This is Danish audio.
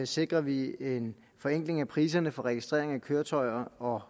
sikrer vi en forenkling af priserne på registrering af køretøjer og